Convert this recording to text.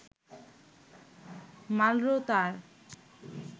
Marlboro তার